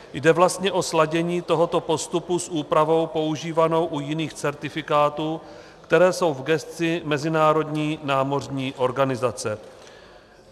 Jde vlastně o sladění tohoto postupu s úpravou používanou u jiných certifikátů, které jsou v gesci Mezinárodní námořní organizace.